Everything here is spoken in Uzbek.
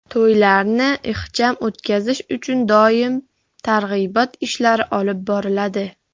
To‘ylarni ixcham o‘tkazish uchun doim targ‘ibot ishlari olib boriladi.